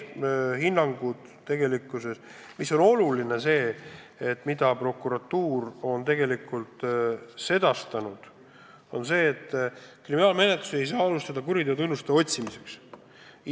Oluline on aga see, et prokuratuur on sedastanud: kriminaalmenetlusi ei saa alustada kuriteotunnuste otsimiseks.